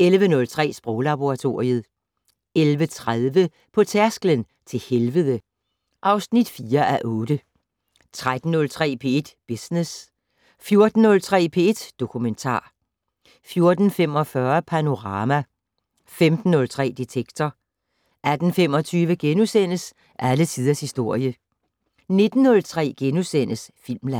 11:03: Sproglaboratoriet 11:30: På tærsklen til helvede (4:8) 13:03: P1 Business 14:03: P1 Dokumentar 14:45: Panorama 15:03: Detektor 18:25: Alle tiders historie * 19:03: Filmland *